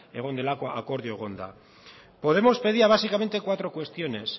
egon delako akordioa egon da podemos pedía básicamente cuatro cuestiones